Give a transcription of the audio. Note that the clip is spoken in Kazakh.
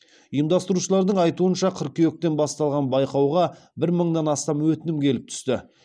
ұйымдастырушылардың айтуынша қыркүйектен басталған байқауға бір мыңнан астам өтінім келіп түсті